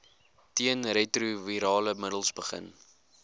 teenretrovirale middels begin